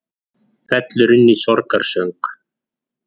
Fellur inn í sorgarsöng